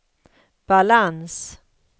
balans